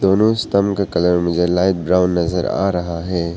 दोनों स्टंप का कलर मुझे लाइट ब्राउन नजर आ रहा है।